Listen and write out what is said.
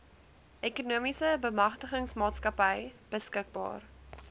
ekonomiese bemagtigingsmaatskappy beskikbaar